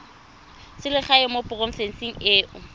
selegae mo porofenseng e o